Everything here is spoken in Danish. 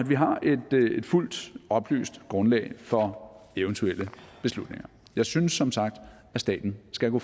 vi har et fuldt oplyst grundlag for eventuelle beslutninger jeg synes som sagt at staten skal gå